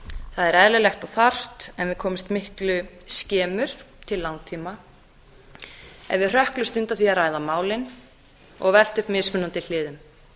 það er eðlilegt og þarft en við komumst miklu skemur til langtíma ef við hrökklumst undan því að ræða málin og velta upp mismunandi hliðum